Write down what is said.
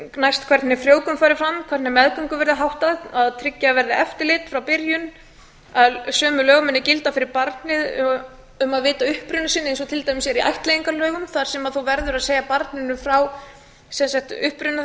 næst hvernig frjóvgun fari fram hvernig meðgöngu verði háttað að tryggja verði eftirlit frá byrjun að sömu lög munu gilda fyrir barnið um að vita uppruna sinn eins og til dæmis er í ættleiðingarlögum þar sem þú verður að segja barninu frá uppruna þess